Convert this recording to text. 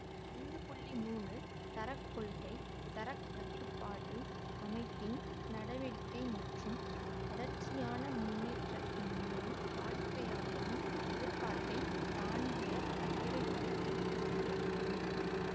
ஐந்து மூன்று தர கொள்கை தர கட்டுப்பாட்டு அமைப்பின் நடவடிக்கை மற்றும் தொடர்ச்சியான முன்னேற்றத்தின் மூலம் வாடிக்கையாளரின் எதிர்பார்ப்பைத் தாண்டிய தேவைகளை பூர்த்தி செய்ய இயலும்